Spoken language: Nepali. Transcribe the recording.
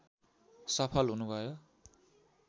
सफल हुनुभयो